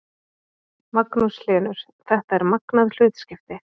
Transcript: Magnús Hlynur: Þetta er magnað hlutskipti?